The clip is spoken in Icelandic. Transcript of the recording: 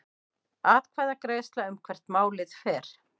Atkvæðagreiðsla um hvert málið fer